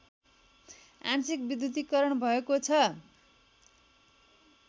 आंशिक विद्युतीकरण भएको छ